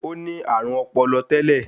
Ó ní àrùn ọpọlọ tẹ́lẹ̀